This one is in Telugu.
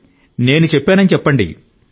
నా పేరు చెప్పండి